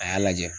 A y'a lajɛ